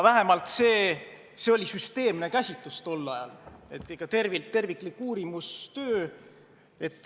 Ent see oli tol ajal süsteemne käsitlus, terviklik uurimistöö.